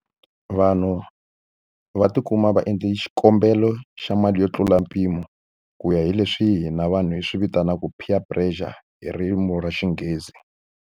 Vanhu va tikuma va endle xikombelo xa mali yo tlula mpimo ku ya hi leswi hina vanhu hi swi vitanaka peer pressure hi ririmi ra Xinghezi.